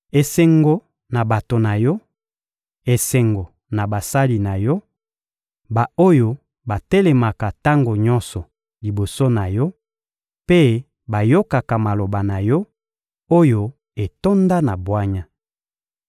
Esengo na bato na yo, esengo na basali na yo, ba-oyo batelemaka tango nyonso liboso na yo mpe bayokaka maloba na yo, oyo etonda na bwanya!